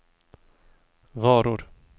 varor